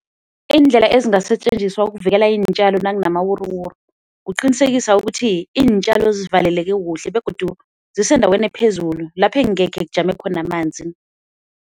Iindlela ezingasetjenziswa ukuvikela iintjalo nakunamawuruwuru, kuqinisekisa ukuthi iintjalo zivaleleke kuhle begodu zisendaweni ephezulu lapho ekungekhe kujame khona amanzi.